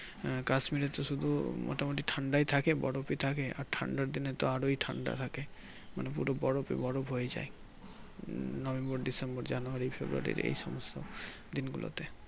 Kasmir এ তো শুধু মোটামুটি ঠান্ডায় থাকে বরফি থাকে আর ঠান্ডার দিনেতো আরোই ঠান্ডা থাকে মানে পুরো বরফে বরফ হয়ে যাই November, December, January, February এই সমস্ত দিন গুলোতে